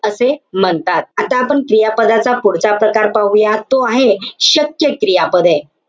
असे म्हणतात. आता आपण क्रियापदाच्या पुढचा प्रकार पाहूया. तो आहे शक्य क्रियापदे.